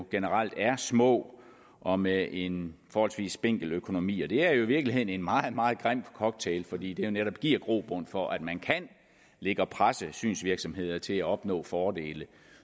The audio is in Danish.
generelt er små og med en forholdsvis spinkel økonomi det er i virkeligheden en meget meget grim cocktail fordi det netop giver grobund for at man kan ligge og presse synsvirksomheder til at opnå fordele